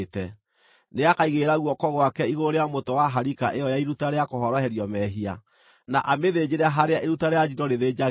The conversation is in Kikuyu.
Nĩakaigĩrĩra guoko gwake igũrũ rĩa mũtwe wa harika ĩyo ya iruta rĩa kũhoroherio mehia, na amĩthĩnjĩre harĩa iruta rĩa njino rĩthĩnjagĩrwo.